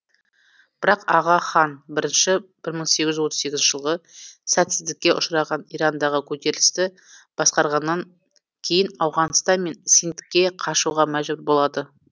бірақ аға хан бірінші бір мың сегіз жүз отыз сегізінші жылғы сәтсіздікке ұшыраған ирандағы көтерілісті басқарғаннан кейін ауғанстан мен синдке қашуға мәжбүр болады